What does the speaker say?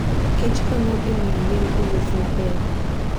kich konyo e miyo yien owuoth maber.